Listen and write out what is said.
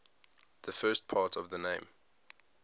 the first part of the name